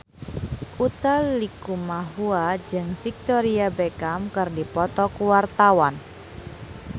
Utha Likumahua jeung Victoria Beckham keur dipoto ku wartawan